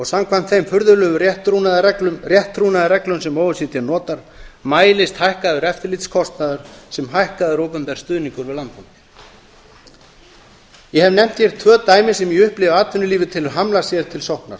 samkvæmt þeim furðulegu rétttrúnaðarreglum sem o e c d notar mælist hækkaður eftirlitskostnaður sem hækkaður opinber stuðningur við landbúnað ég hef nefnt hér tvö dæmi sem ég upplifi að atvinnulífið telur hamla sér til sóknar